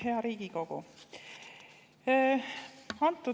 Hea Riigikogu!